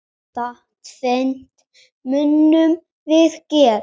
Þetta tvennt munum við gera.